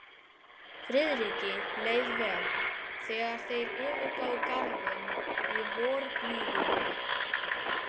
Friðriki leið vel, þegar þeir yfirgáfu Garðinn í vorblíðunni.